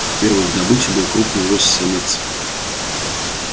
первой их добычей был крупный лось самец